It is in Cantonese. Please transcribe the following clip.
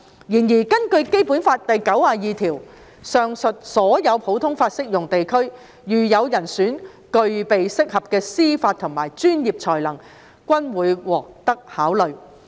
然而，根據《基本法》第九十二條，上述所有普通法適用地區如有人選具備適合的司法和專業才能均會獲得考慮。